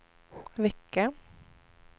vecka